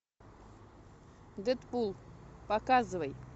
дэдпул показывай